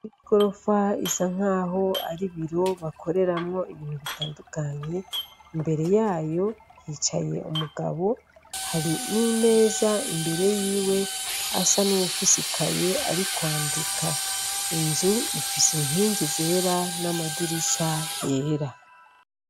Igorofa isa nk'aho ari ibiro bakoreramwo ibintu bitandukanye, imbere yayo hicaye umugabo hari n'imeza imbere yiwe asa n'uwufise ikaye ari kwandika, inzu ifise inkingi zera n'amadirisha yera.